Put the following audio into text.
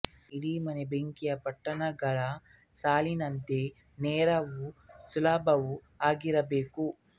ಇಡೀ ಮನೆ ಬೆಂಕಿಯ ಪೊಟ್ಟಣಗಳ ಸಾಲಿನಂತೆ ನೇರವೂ ಸುಲಭವೂ ಆಗಿರಬೇಕು